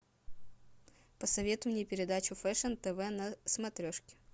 посоветуй мне передачу фэшен тв на смотрешке